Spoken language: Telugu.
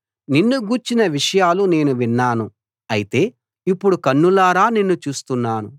నిన్ను గూర్చిన విషయాలు నేను విన్నాను అయితే ఇప్పుడు కన్నులారా నిన్ను చూస్తున్నాను